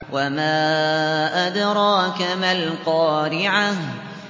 وَمَا أَدْرَاكَ مَا الْقَارِعَةُ